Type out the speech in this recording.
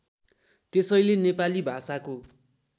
त्यसैले नेपाली भाषाको